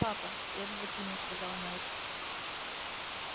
папа требовательно сказал найд